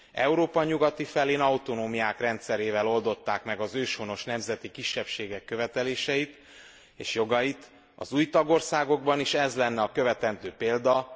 Európa nyugati felén autonómiák rendszerével oldották meg az őshonos nemzeti kisebbségek követeléseit és jogait, az új tagországokban is ez lenne a követendő példa.